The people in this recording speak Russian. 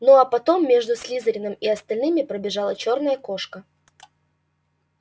ну а потом между слизерином и остальными пробежала чёрная кошка